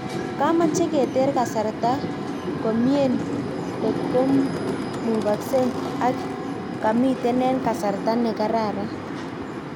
Kimache keter kasarta komien kotkomukasen ak kamiten en kasarta ne karan